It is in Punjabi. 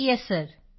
ਯੇਸ ਸਿਰ ਯੇਸ ਸਿਰ